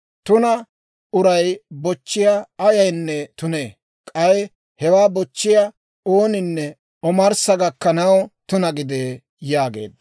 Tuna uray bochchiyaa ayaynne tunee. K'ay hewaa bochchiyaa ooninne omarssa gakkanaw tuna gidee» yaageedda.